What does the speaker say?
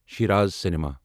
Shiraz cinema